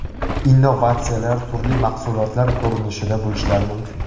Innovatsiyalar turli mahsulotlar ko‘rinishida bo‘lishlari mumkin.